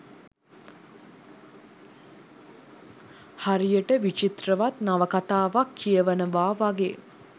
හරියට විචිත්‍රවත් නවකතාවක් කියවනවා වගේ